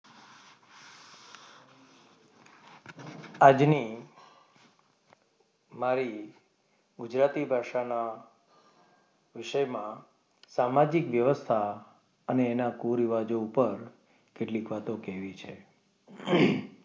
આજની મારી ગુજરાતી ભાષાના વિષયમાં સામાજિક વ્યવસ્થા અને એના કુરિવાજો ઉપર કેટલીક વાતો કેવી છે.